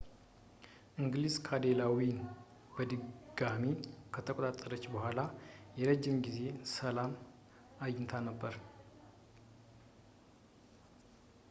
እንግሊዝ ዳኔላውን በድጋሚ ከተቆጣጠረች በኋላ የረጅም ጊዜ ሰላም አግኝታ ነበር